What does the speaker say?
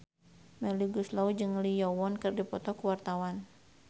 Melly Goeslaw jeung Lee Yo Won keur dipoto ku wartawan